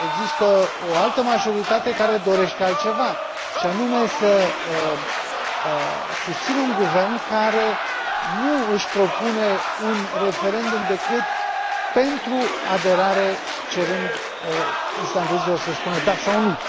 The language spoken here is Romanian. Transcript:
Există o altă majoritate, care dorește altceva, și anume să susțină un guvern care nu își propune un referendum decât pentru aderare, cerând islandezilor să spună da sau nu.